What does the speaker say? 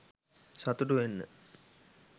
සතුටු වෙන්න